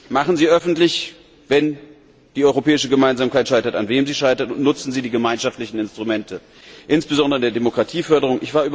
Machen Sie es öffentlich, wenn die europäische Gemeinsamkeit scheitert und an wem sie scheitert, und nutzen Sie die gemeinschaftlichen Instrumente, insbesondere für die Demokratieförderung!